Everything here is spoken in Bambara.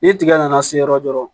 Ni tigɛ nana se yɔrɔ dɔrɔnw